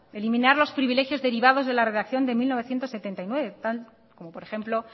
eliminar los privilegios derivados de la redacción de mil novecientos setenta y nueve tal como por ejemplo